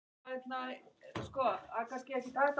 Viðtöl við Davíð Oddsson